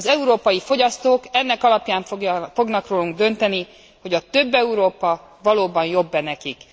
Az európai fogyasztók ennek alapján fognak rólunk dönteni, hogy a több Európa valóban jobb e nekik.